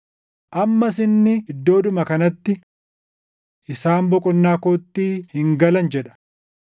Ammas inni iddoodhuma kanatti, “Isaan boqonnaa kootti hin galan” + dup 4:5 \+xt Far 95:11\+xt* jedha.